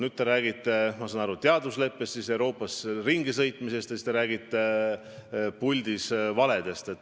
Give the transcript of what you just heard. Nüüd te räägite, ma saan aru, teadusleppest, siis Euroopas ringisõitmisest, ja siis te räägite puldis kõlanud valedest.